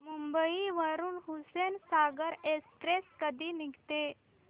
मुंबई वरून हुसेनसागर एक्सप्रेस कधी निघते